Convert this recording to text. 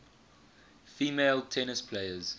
female tennis players